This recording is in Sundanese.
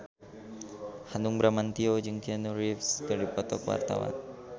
Hanung Bramantyo jeung Keanu Reeves keur dipoto ku wartawan